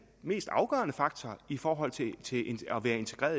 mest afgørende faktor i forhold til det at være integreret